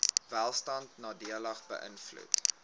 welstand nadelig beïnvloed